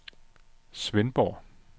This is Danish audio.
Svendborg